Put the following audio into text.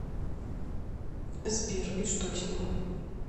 сбер и что с ним